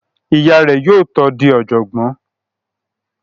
Ìyá rẹ̀ yóò tó di ọ̀jọ̀gbọ́n